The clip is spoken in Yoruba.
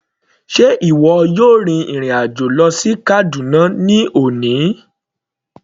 Sé ìwọ yóò rin ìrìn àjò lọ sí Kaduna ní òní.